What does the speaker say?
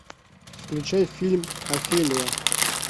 включай фильм офелия